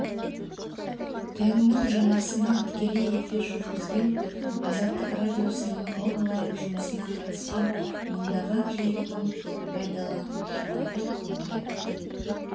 теннің жанасынан тікелей эфир жүргізген азаттық радиосының онлайн жұмысына қатысқан мыңдаған желінің пайдаланушылары көңіл айтты